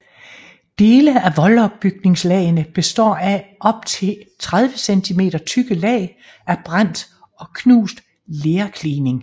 Dele af voldopbygningslagene består af op til 30 centimeter tykke lag af brændt og knust lerklining